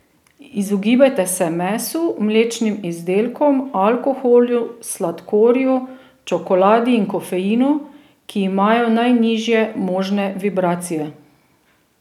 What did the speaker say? Izogibajte se mesu, mlečnim izdelkom, alkoholu, sladkorju, čokoladi in kofeinu, ki imajo najnižje možne vibracije.